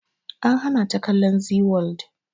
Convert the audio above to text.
An hana ta kallon zee world